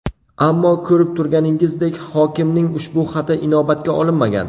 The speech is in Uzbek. Ammo ko‘rib turganingizdek, hokimning ushbu xati inobatga olinmagan.